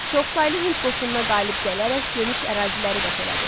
Çoxsaylı Hind qoşununa qalib gələrək geniş əraziləri qət elədi.